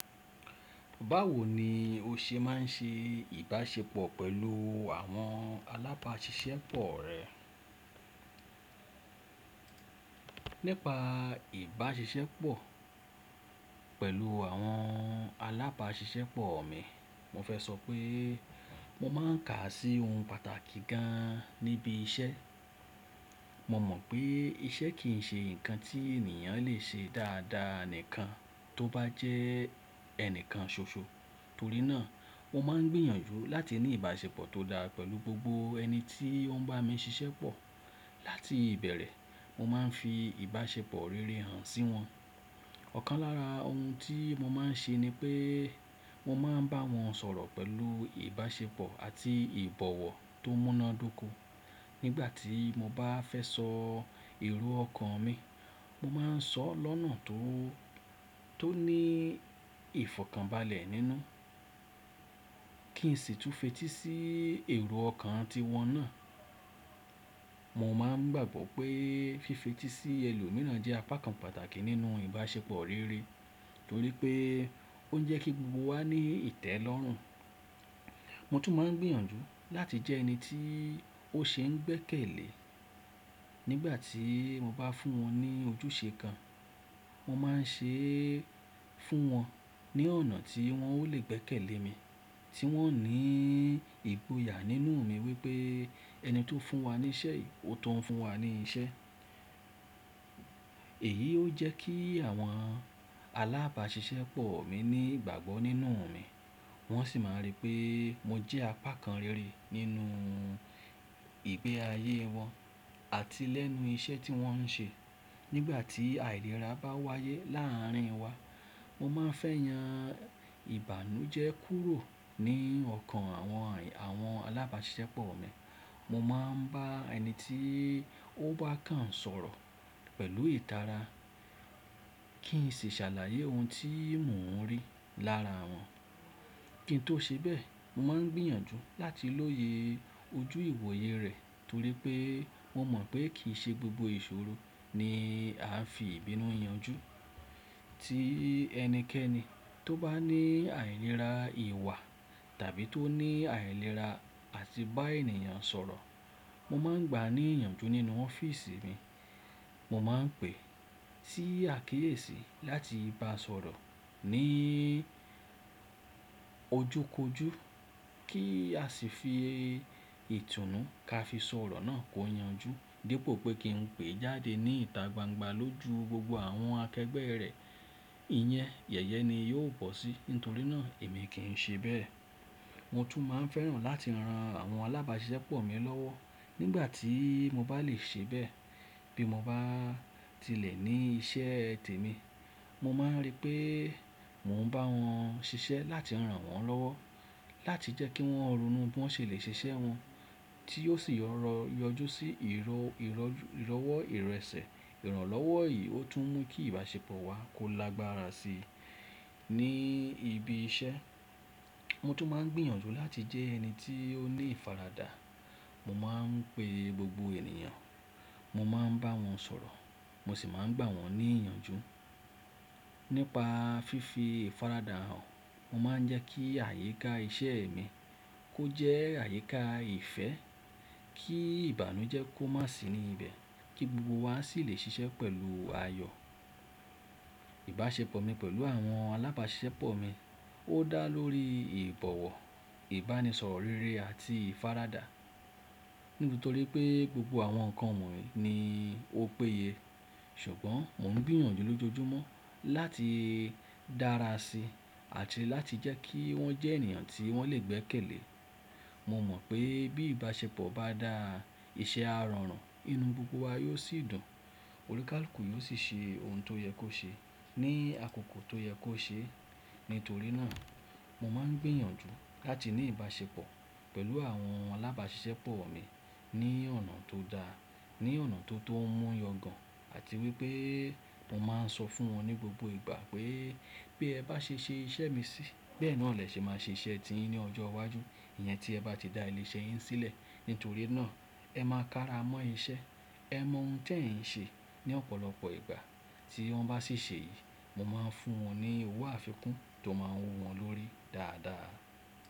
Báwo ni o ṣe máa ń ṣe ìbáṣepọ̀ pẹ̀lú àwọn alábáṣiṣẹ́pọ̀ rẹ? Nípa ìbáṣepọ̀ pẹ̀lù àwọn alábáṣiṣẹ́pọ̀ mi, mo fẹ́ sọ pé mo máa ń kà á sí ohun pàtàkì gan an níbi iṣẹ́. Mo mọ̀ pé iṣẹ́ kì í ṣe nǹkan tí ènìyàn lè ṣe dáadáa nìkan tó bá jẹ́ ẹnìkan ṣoṣo. Torí náà mo máa ń gbìyànjú láti ní ìbáṣepọ̀ tó dáa pẹ̀lú gbogbo ẹni tí ó ń bá mi ṣiṣẹ́pọ̀. Láti ìbẹ̀rẹ̀ mo máa ń fi ìbáṣepọ̀ rere hàn sí wọn. Ọ̀kan lára ohun tí mo máa ń ṣe ni pé mo máa ń bá wọn sọ̀rọ̀ pẹ̀lú ìbáṣepọ̀ àti ìbọ̀wọ̀ tó múnádóko. Nígbà tí mo bá fẹ́ sọ èrò ọkàn mi, mo máa ń sọ ọ́ lọ́nà tó, tó ní ìfọ̀kànbalẹ̀ nínú. Kì í sì túń fetí sí èrò ọkàn tí wọn náà. Mo máa ń gbàgbọ́ pé fífetí sí ẹlòmíràn jẹ́ apá kan pàtàkì nínú ìbáṣepọ̀ rere torí pé ó ń jẹ́ kí gbogbo wa ní ìtẹ́lọ́rùn. Mo tún máa ń gbìyànjú láti jẹ́ ẹni tí ó ṣe ń gbẹ́kẹ̀lé. Nígbà tí mo bá fún wọn ní ojúṣe kan, mo máa ń ṣe é fún wọn ní ọ̀nà tí wọn ó lè gbẹ́kẹ̀lé mi, tí wọn ó ní ìgboyà nínú mi wípé ẹni tó fún wa ní iṣẹ́, ó tún ń fún wa ní iṣẹ́. Èyí ó jẹ́ kí àwọn alábáṣiṣẹ́pọ̀ mi ní ìgbàgbọ́ nínú mi. Wọ́n sì máa rí pé mo jẹ́ apá kan rere nínú ìgbé ayé wọn àti lẹ́nu iṣẹ́ tí wọ́n ń ṣe. Nígbà tí àìlera bá wáyé láà rín wa, mo máa ń fẹ́ yan ìbànújẹ́ kúrò ní ọkàn àwọn, àwọn alábáṣiṣẹ́pọ̀ mi. Mo máa ń bá ẹni tí ó bá kàn ń sọ̀rọ̀ pẹ̀lú ìtara kì í sì ṣàlàyé ohun tí mò ń rí lára wọn. Kí n tó ṣe bẹ́ẹ̀, mo máa ń gbìyànjú láti lóye ojú ìwòye rẹ̀ torí pé mo mọ̀ pé kì í ṣe gbogbo ìṣòro ni a fi ìbínú yanju. Tí ẹnikẹ́ni tó bá ní àìlera ìwà tàbí tó ní àìlera àti bá ènìyàn sọ̀rọ̀, mo máa ń gbà á ní ìyànjú nínú ọ́fíìsì mi. Mo máa ń pè sí àkíyèsí láti bá a sọ̀rọ̀ ní ojú kojú kí a sì fi ìtùnú ka fi sọ̀rọ̀ náà kó yanju. Dípò pé kí n pè é jáde ní ìta gbangba lójú gbogbo àwọn akẹgbẹ́ rẹ̀, ìyẹn yẹ̀yẹ́ ni yóò bọ́ sí, nítorí náà èmi kì í ṣe bẹ́ẹ̀. Mo tún máa ń fẹ́ràn láti ran àwọn alábáṣiṣẹ́pọ̀ mi lọ́wọ́ nígbà tí mo bá lè ṣe bẹ́ẹ̀ bí mo bá tilẹ̀ ní iṣẹ́ tèmi. Mo máa ń rí pé mò ń bá wọn ṣiṣẹ́ láti rán wọn lọ́wọ́ láti jẹ́ kí wọ́n ronú bí wọ́n ṣe lè ṣe iṣẹ́ wọn tí ó sì yọ̀ rọ̀ yọjú sí ìrọ́, ìrọ́jú, ìrọ́wọ́ ìrẹsẹ̀. Ìrànlọ́wọ́ yìí ó tún ń mú kí ìbáṣepọ̀ wa kó lágbára sí i ní ibi iṣẹ́. Mo tún máa ń gbìyànjú láti jẹ́ ẹni tí ó ni ìfaradà. Mo máa ń pe gbogbo ènìyàn, mo máa ń bá wọn sọ̀rọ̀, mo sì máa ń gbà wọ́n ní ìyànjú. Nípa fífi ìfaradà hàn, mo máa ń jẹ́ kí àyíká iṣẹ́ mi kó jẹ́ àyíká ìfẹ́, kí ìbànújẹ́ kó má sì ní ibẹ̀ kí gbogbo wa sì lè ṣiṣẹ́ pẹ̀lú ayọ̀. Ìbáṣepọ̀ mi pẹ̀lú àwọn alábáṣiṣẹ́pọ̀ mi ó dá lórí ìbọ̀wọ̀, ìbánisọ̀rọ̀ rere àti ìfaradà nítorí pé gbogbo àwọn nǹkan wọ̀nyí ni ó péye. Ṣùgbọ́n mò ń gbìyànjú lójoojúmọ́ láti dára sí i àti láti jẹ́ kí wọ́n jẹ́ ènìyàn tí wọ́n lè gbẹ́kẹ̀lé. Mo mọ̀ pé bí ìbáṣepọ̀ bá dá, iṣẹ́ á rọrùn, inú gbogbo wa yóò sì dùn. Olùkálùkù yóò sì ṣe ohun tó yẹ kó ṣe ní àkókò tó yẹ kó ṣe. Nítorí náà mo máa ń gbìyànjú láti ní ìbáṣepọ̀ pẹ̀lú àwọn alábáṣiṣẹ́pọ̀ mi ní ọ̀nà tó dáa, ní ọ̀nà tó, tó mú yọ̀gàn àti wípé mo máa ń sọ fún wọn ní gbogbo ìgbà pé bí ẹ bá ṣe ṣe iṣẹ́ mi sí, bẹ́ẹ̀ ni ọ̀lẹ ṣe máa ṣe iṣẹ́ ti yín ní ọjọ́ iwájú. Ìyẹn tí ẹ bá ti dá ilé iṣẹ́ yín sílẹ̀. Nítorí náà ẹ máa kára mọ́ iṣẹ́, ẹ mọ ohun tí ẹ̀ ń ṣe. Ni ọ̀pọ̀lọpọ̀ ìgbà tí wọ́n bá ṣì ṣe èyí, mo máa ń fún wọn ní owó àfikún tó máa n wu wọn lórí dáadáa.